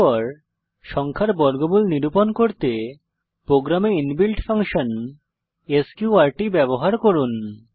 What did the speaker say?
এরপর সংখ্যার বর্গমূল নিরূপন করতে প্রোগ্রামে ইনবিল্ট ফাংশন স্ক্যুর্ট ব্যবহার করুন